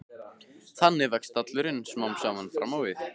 Þannig vex stallurinn smám saman fram á við.